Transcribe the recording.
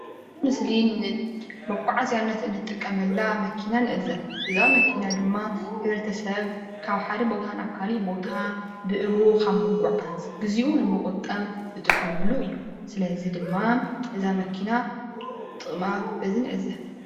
እዚ ምስሊ እዚ ንመጓዓዝያ እንጥቀመላ መኪና ንዕዘብ፡፡ እዛ መኪና ድማ ሕብረተሰብ ካብ ሓደ ቦታ ናብ ካሊእ ቦታ ብእግሩ ካብ ምጓዓዝ ግዝኡ ንምቁጣብ ዝጥቀመሉ እዩ፡፡ ስለዚ ድማ እዛ መኪና ጥቅማ በዚ ንዕዘብ፡፡